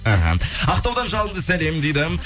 аха ақтаудан жалынды сәлем дейді